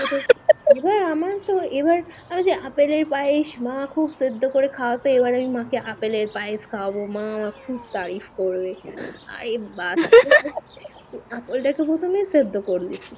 এবার আপেল এর পায়েস মা খুব সেদ্দ করে খাওয়াতে এবার আমি মা কে আপেল এর পায়েস খাওয়াবো, মা খুব তারিফ করবে অরে বাস হা হা ঐটা তুমি সেদ্ধ করবে